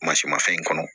mafɛn in kɔnɔ